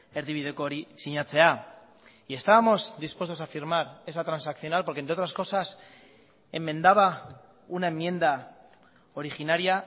erdibideko hori sinatzea y estábamos dispuestos a firmar esa transaccional porque entre otras cosas enmendaba una enmienda originaria